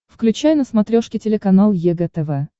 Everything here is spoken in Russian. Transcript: включай на смотрешке телеканал егэ тв